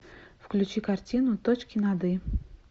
включи картину точки над и